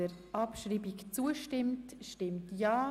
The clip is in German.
Wer die Abschreibung annimmt, stimmt ja.